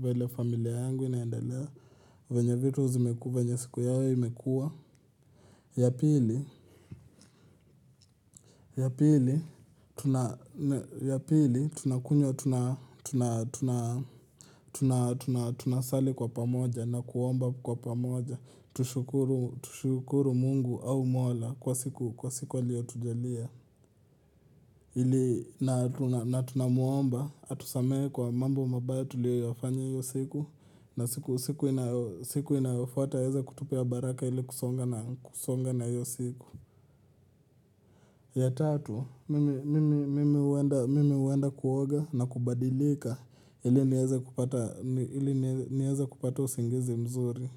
venye familia yangu inaendelea venye vitu zimekuwa venye siku yao imekua Yapili Yapili tunakunywa tuna sali kwa pamoja na kuomba kwa pamoja Tushukuru mungu au mola kwa siku kwa siku aliyo tujalia na tunamuomba atusamehe kwa mambo mabaya tulio yafanya hiyo siku na siku inayofuata aweze kutupea baraka ili kusonga na hiyo siku ya tatu, mimi huenda kuoga na kubadilika ili nieze kupata usingizi mzuri.